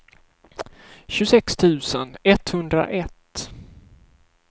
tjugosex tusen etthundraett